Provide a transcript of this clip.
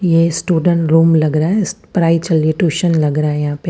यह student room लग रहा है इस में पढ़ाई चल रही टूशन लग रहा है।